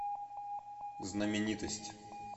знаменитость